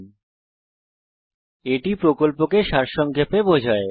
এটি spoken tutorial প্রকল্পটি সারসংক্ষেপে বোঝায়